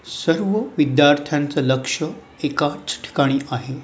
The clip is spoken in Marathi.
सर्व विद्यार्थ्यांचं लक्ष एकाच ठिकाणी आहे.